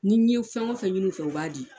Ni n' ye fɛn o fɛn ɲini u fɛ u b'a di.